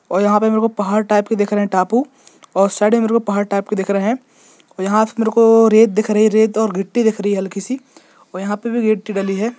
और यहाँ पे मेरे को पहाड़ टाइप के दिख रहे है टापू और साइड में मेरे को पहाड़ टाइप के दिख रहे है और यहाँ से मेरे को रेत दिख रही है रेत और गिट्टी दिख रही है हल्की सी और यहाँ पर भी गिट्टी डली है।